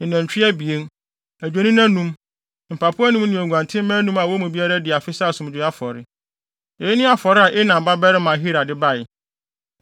ne anantwi abien, adwennini anum, mpapo anum ne nguantenmma anum a wɔn mu biara adi afe sɛ asomdwoe afɔre. Eyi ne afɔre a Enan babarima Ahira de bae.